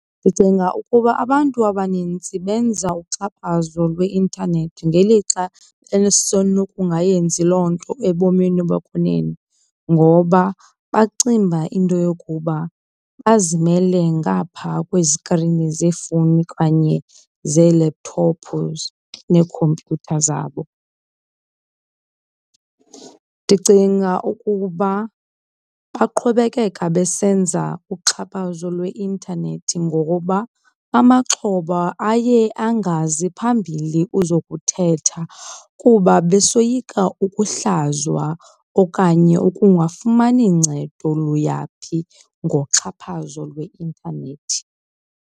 Ndicinga ukuba abantu abanintsi benza uxhaphazo lweintanethi ngelixa esenokungayenzi loo nto ebomini bokwenene ngoba bacinga uba into yokuba bazimele ngapha kwezikrini zeefowuni okanye zee-laptop nekhompyutha zabo. Ndicinga ukuba baqhubekeka besenza uxhaphazo lweintanethi ngokuba amaxhoba aye angazi phambili uzokuthetha kuba besoyika ukuhlazwa okanye ukungafumani ncedo luya phi ngoxhaphazo lweintanethi.